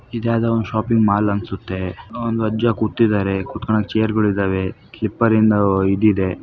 ಇದ್ಯಾವದೋ ಒಂದು shopping mall ಅನ್ಸುತ್ತೆ ಒಂದು ಅಜ್ಜ ಕುತ್ತಿದಾರೆ ಕುತಗೋಣಾಕ್ ಚೇರ್ ಗಳಿದ್ದಾವೆ ಸ್ಲೀಪ್ಪೆರಿಂದ್ ಇದಿದೆ.